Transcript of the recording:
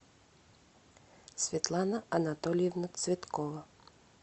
светлана анатольевна цветкова